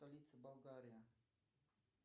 столица болгария